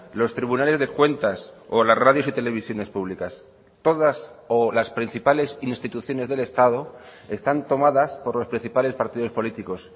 los tribunales de cuentas o las radios y televisiones públicas todas o las principales instituciones del estado están tomadas por los principales partidos políticos